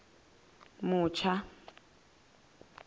mutsha